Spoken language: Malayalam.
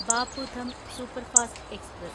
Bapu Dham superfast express